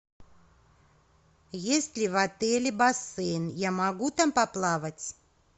есть ли в отеле бассейн я могу там поплавать